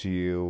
Se eu...